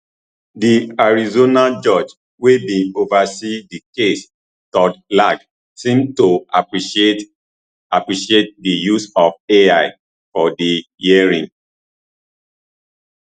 di arizona judge wey bin oversee di case todd lang seem to appreciate appreciate di use of ai for di hearing